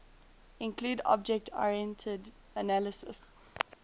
include object oriented analysis